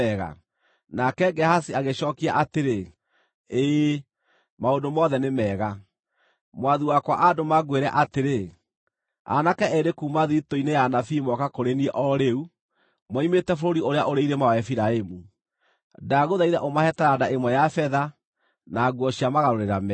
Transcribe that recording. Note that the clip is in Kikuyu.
Nake Gehazi agĩcookia atĩrĩ, “Ĩĩ, maũndũ mothe nĩ mega. Mwathi wakwa aandũma ngwĩre atĩrĩ, ‘Aanake eerĩ kuuma thiritũ-inĩ ya anabii mooka kũrĩ niĩ o rĩu, moimĩte bũrũri ũrĩa ũrĩ irĩma wa Efiraimu. Ndagũthaitha ũmahe taranda ĩmwe ya betha, na nguo cia magarũrĩra meerĩ.’ ”